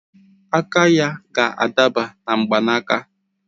Aka ya ga-adaba na mgbanaka